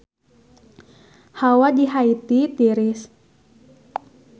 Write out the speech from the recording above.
Hawa di Haiti tiris